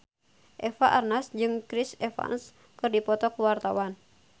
Eva Arnaz jeung Chris Evans keur dipoto ku wartawan